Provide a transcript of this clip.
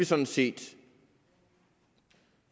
sådan set